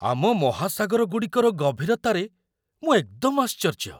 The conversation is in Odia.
ଆମ ମହାସାଗର ଗୁଡ଼ିକର ଗଭୀରତାରେ ମୁଁ ଏକଦମ ଆଶ୍ଚର୍ଯ୍ୟ!